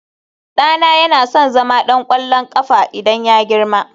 ɗana yana son zama ɗan ƙwallon ƙafa idan ya girma